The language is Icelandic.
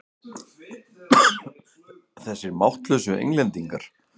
Þessir máttlausu Englendingar!